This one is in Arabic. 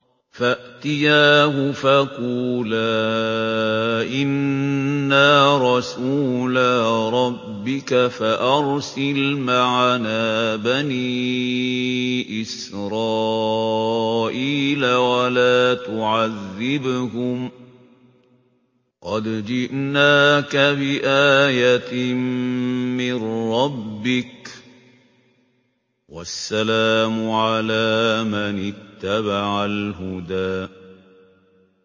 فَأْتِيَاهُ فَقُولَا إِنَّا رَسُولَا رَبِّكَ فَأَرْسِلْ مَعَنَا بَنِي إِسْرَائِيلَ وَلَا تُعَذِّبْهُمْ ۖ قَدْ جِئْنَاكَ بِآيَةٍ مِّن رَّبِّكَ ۖ وَالسَّلَامُ عَلَىٰ مَنِ اتَّبَعَ الْهُدَىٰ